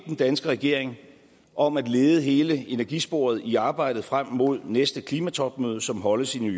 den danske regering om at lede hele energisporet i arbejdet frem mod næste klimatopmøde som holdes i new